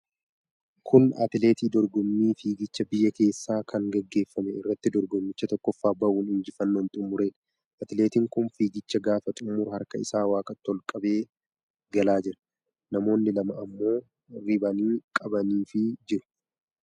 Kun atileetii dorgommii fiigichaa biyya keessaa kan gaggeeffame irratti dorgommicha tokkoffaa ba'uun injifannoon xumureedha. Atileetin kun fiigicha gaafa xumuru harka isaa waaqatti ol qabee galaa jira. Namoonni lama ammoo ribaanii qabaniifii jiru.